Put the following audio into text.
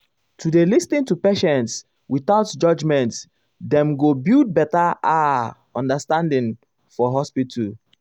to dey lis ten to patients without judging dem go build better ah understanding for hospital.